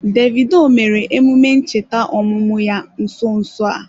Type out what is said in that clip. Davidoo mere emume ncheta ọmụmụ ya nso nso a.